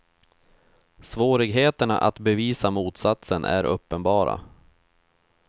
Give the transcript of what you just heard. Svårigheterna att bevisa motsatsen är uppenbara.